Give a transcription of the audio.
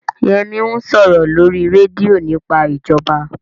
Yẹmí ń sọ̀rọ̀ lórí rédíò nípa ìjọba